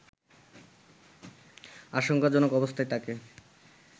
আশঙ্কাজনক অবস্থায় তাকে